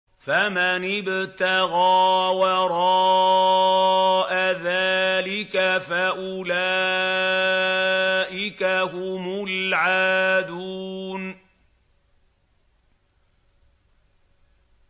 فَمَنِ ابْتَغَىٰ وَرَاءَ ذَٰلِكَ فَأُولَٰئِكَ هُمُ الْعَادُونَ